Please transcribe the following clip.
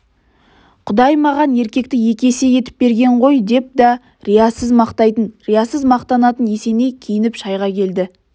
құдай маған еркекті екі есе етіп берген ғой деп да риясыз мақтайтын риясыз мақтанатын есеней киініп шайға келді